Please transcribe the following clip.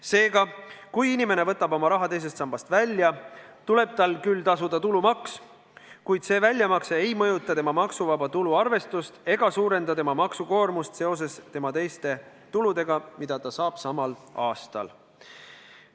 Seega, kui inimene võtab oma raha teisest sambast välja, tuleb tal küll tasuda tulumaks, kuid see väljamakse ei mõjuta tema maksuvaba tulu arvestust ega suurenda tema maksukoormust koos teiste tuludega, mida ta saab samal aastal.